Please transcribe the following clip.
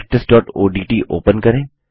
practiceओडीटी open करें